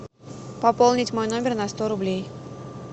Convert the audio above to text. пополнить мой номер на сто рублей